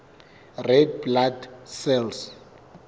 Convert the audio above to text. red blood cells